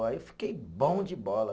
Aí eu fiquei bom de bola.